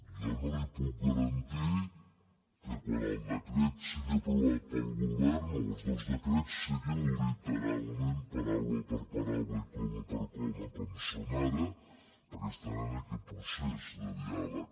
jo no li puc garantir que quan el decret sigui aprovat pel govern o els dos decrets siguin literalment paraula per paraula i coma per coma com són ara perquè estan en aquest procés de diàleg